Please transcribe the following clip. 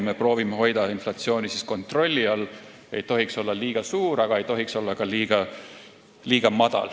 Me proovime hoida inflatsiooni kontrolli all, see ei tohiks olla liiga suur ega ka liiga väike.